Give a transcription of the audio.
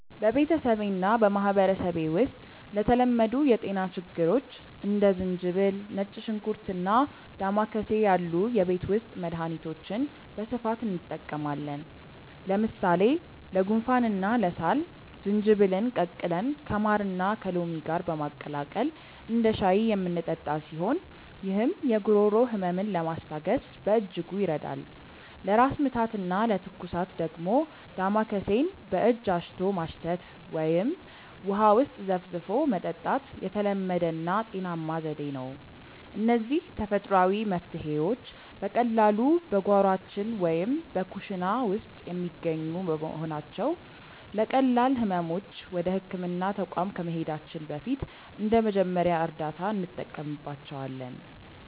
በቤተሰቤና በማኅበረሰቤ ውስጥ ለተለመዱ የጤና ችግሮች እንደ ዝንጅብል፣ ነጭ ሽንኩርትና ዳማከሴ ያሉ የቤት ውስጥ መድኃኒቶችን በስፋት እንጠቀማለን። ለምሳሌ ለጉንፋንና ለሳል ዝንጅብልን ቀቅለን ከማርና ከሎሚ ጋር በማቀላቀል እንደ ሻይ የምንጠጣው ሲሆን፣ ይህም የጉሮሮ ሕመምን ለማስታገስ በእጅጉ ይረዳል። ለራስ ምታትና ለትኩሳት ደግሞ ዳማከሴን በእጅ አሽቶ ማሽተት ወይም ውሃ ውስጥ ዘፍዝፎ መጠጣት የተለመደና ውጤታማ ዘዴ ነው። እነዚህ ተፈጥሯዊ መፍትሔዎች በቀላሉ በጓሯችን ወይም በኩሽና ውስጥ የሚገኙ በመሆናቸው፣ ለቀላል ሕመሞች ወደ ሕክምና ተቋም ከመሄዳችን በፊት እንደ መጀመሪያ እርዳታ እንጠቀምባቸዋለን።